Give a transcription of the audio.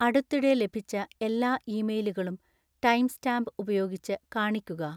അടുത്തിടെ ലഭിച്ച എല്ലാ ഇമെയിലുകളും ടൈംസ്റ്റാമ്പ് ഉപയോഗിച്ച് കാണിക്കുക